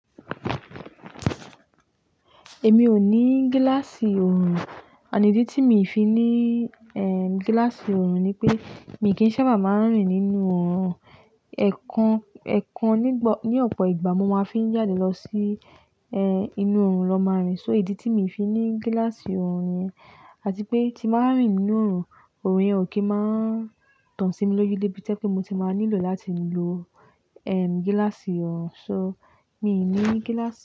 Èmi ò ní gíláàsì orùn, and idi tí mi fi ní, eh, gíláàsì orùn ni pé mi kì í sábà máa ń rìn nínú orùn. Ẹ̀kan, ẹ̀kan nígb-ní ọ̀pọ̀ ìgbà mo máa fi ń jáde lọ sí, ẹ́, inú ọrùn lọ máa rìn. So ìdí tí mi fi ní gíláàsì ọrùn niyẹn. Àti pé tí máa ń rìn nínú ọrùn, ọrùn yẹn ò kí máa ń tàn sí mi lójú lébí tí ẹ́ pé mo ti máa nílò láti lọ, ehm, gíláàsì orùn. So, mi ní gíláàsì orùn.